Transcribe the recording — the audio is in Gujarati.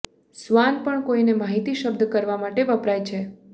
સ્વાન પણ કોઈને માહિતી શબ્દ કરવા માટે વપરાય છે